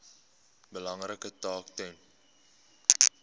belangrike taak ten